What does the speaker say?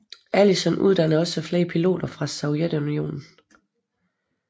Alison uddannede også flere piloter fra Sovjetunionen